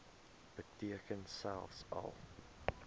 beteken selfs al